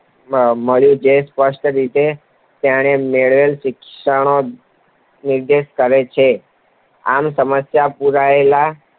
મળ્યું. જે સ્પષ્ટ રીતે તેણે મેળવેલા શિક્ષણનો નિર્દેશ કરે છે. આમ, સમસ્યાપેટીમાં પુરાયેલા